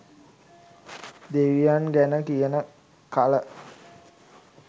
දෙවියන් ගැන කියන කල